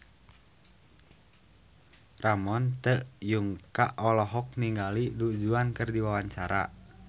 Ramon T. Yungka olohok ningali Du Juan keur diwawancara